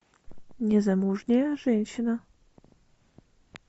незамужняя женщина